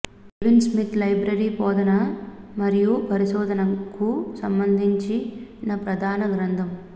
kelvin Smith library బోధన మరియు పరిశోధనకు సంబంధించిన ప్రధాన గ్రంథం